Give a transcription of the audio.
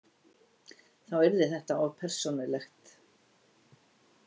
Þá yrði þetta of persónulegt.